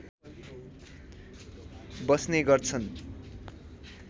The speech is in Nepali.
बस्ने गर्छन्